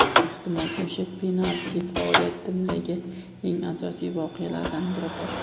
Ehtimol o‘sha penalti – faoliyatimdagi eng asosiy voqealardan biridir.